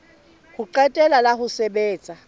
ho qetela la ho sebetsa